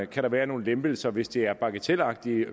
kan være nogle lempelser hvis det er bagatelagtige